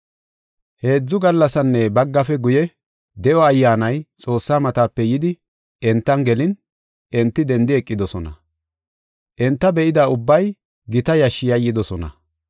Heedzu gallasinne baggafe guye, de7o ayyaanay Xoossaa matape yidi entan gelin, enti dendi eqidosona. Enta be7ida ubbay gita yashshi yayyidosona.